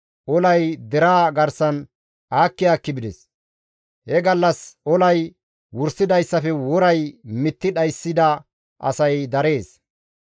Olay deraa garsan aakki aakki bides; he gallas olay wursidayssafe woray mitti dhayssida asay darees.